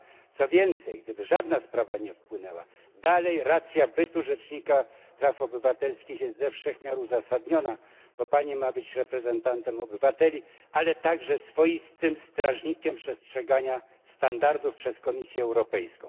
Ba, co więcej, gdyby żadna sprawa nie wpłynęła, dalej racja bytu rzecznika praw obywatelskich jest ze wszech miar uzasadniona, bo Pani ma być reprezentantem obywateli, ale także swoistym strażnikiem przestrzegania standardów przez Komisję Europejską.